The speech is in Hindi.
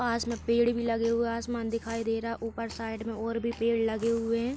पास में पेड़ भी लगे हुए हैं। आसमान दिखाई दे रहा है। ऊपर साइड में ओर भी पेड़ लगे हुए हैं।